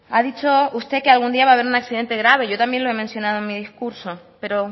ha dicho usted que algún día va a haber un accidente grave yo también lo he mencionado en mi discurso pero